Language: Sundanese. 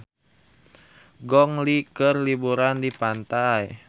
Gong Li keur liburan di pantai